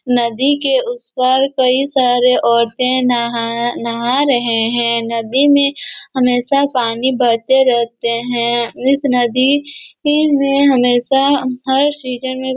नदी के उस पार कई सारे औरते नाहा नाहा रहे है नदी हमेशा पानी बहते रहते है इस नदी कि में हमेशा हर सीजन में--